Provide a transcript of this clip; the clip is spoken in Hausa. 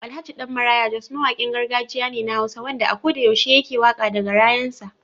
Alhj. Dan maraya jos mawakin gargajiya ne na hausa wanda a koda yaushe yake waka da garayan sa.